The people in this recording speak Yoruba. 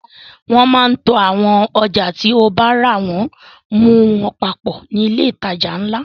Wọ́n máa ń to àwọn ọjà tí o bára wọ́n mu papọ̀ ní ilé ìtajà ńlá.